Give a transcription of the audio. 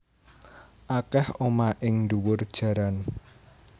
Akeh omah ing ndhuwur jaran